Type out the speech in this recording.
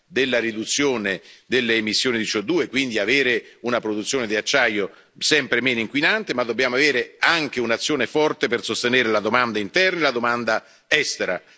della riduzione delle emissioni di CO2, quindi avere una produzione di acciaio sempre meno inquinante, ma dobbiamo avere anche un'azione forte per sostenere la domanda interna e la domanda estera.